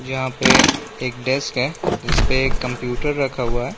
यहाँ पे एक डेस्क है जिस पे एक कंप्यूटर रखा हुआ है।